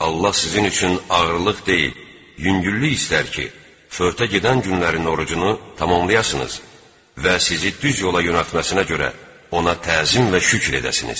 Allah sizin üçün ağırlıq deyil, yüngüllük istər ki, fövtə gedən günlərin orucunu tamamlayasınız və sizi düz yola yönəltməsinə görə ona təzim və şükür edəsiniz.